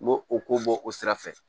N m'o o ko bɔ o sira fɛ